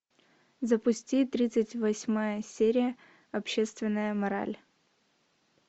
запусти тридцать восьмая серия общественная мораль